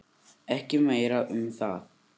Ekki meira um það.